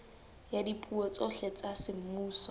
ya dipuo tsohle tsa semmuso